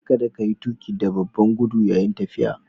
Kada ka yi tuƙi da babban gudu yayin tafiya.